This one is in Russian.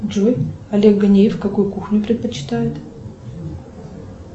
джой олег ганеев какую кухню предпочитает